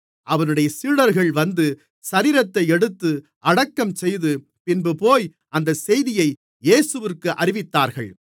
அவனுடைய சீடர்கள் வந்து சரீரத்தை எடுத்து அடக்கம்செய்து பின்புபோய் அந்தச் செய்தியை இயேசுவிற்கு அறிவித்தார்கள்